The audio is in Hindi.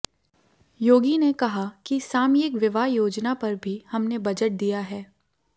योगी ने कहा कि सामयिक विवाह योजना पर भी हमने बजट दिया है